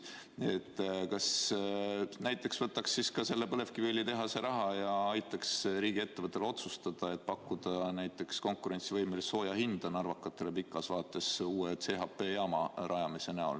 Kas näiteks ei võiks siis võtta seda põlevkiviõlitehase raha ja aidata riigiettevõtetel otsustada, et pakkuda konkurentsivõimelist sooja hinda narvakatele pikas vaates uue CHP-jaama rajamise näol?